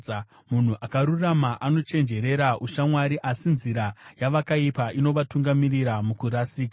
Munhu akarurama anochenjerera ushamwari, asi nzira yavakaipa inovatungamirira mukurasika.